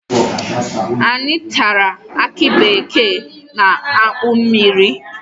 Anyị tara aki bekee na akpụ mmiri